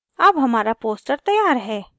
अब हमारा poster तैयार है